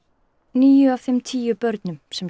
níu af þeim tíu börnum sem